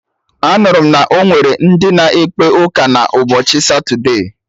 Anụrụ m na onwere ndị na ekpe ụka na ụbọchị satude